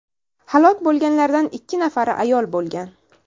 Halok bo‘lganlardan ikki nafari ayol bo‘lgan.